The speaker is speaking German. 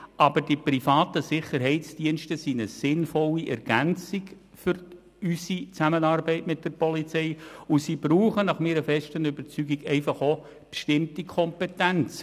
Aber die privaten Sicherheitsdienste sind eine sinnvolle Ergänzung für unsere Zusammenarbeit mit der Polizei, und sie brauchen nach meiner festen Überzeugung auch bestimmte Kompetenzen.